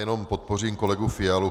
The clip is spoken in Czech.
Jenom podpořím kolegu Fialu.